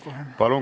Palun!